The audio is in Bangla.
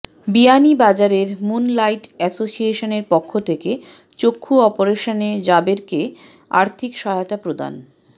বিয়ানীবাজারের মুন লাইট এসোসিয়েশনের পক্ষ থেকে চক্ষু অপারেশনে জাবেরকে আর্থিক সহায়তা প্রদান